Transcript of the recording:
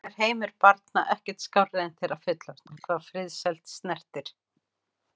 Eins og gengur er heimur barna ekkert skárri en þeirra fullorðnu hvað friðsæld snertir.